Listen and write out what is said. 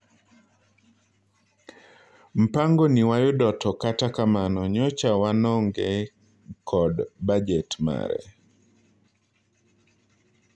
"Mpangoni wayudo to kata kamano nyocha wanonge kod bajet mare.